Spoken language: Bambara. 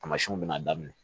Tamasiyɛnw bɛna daminɛ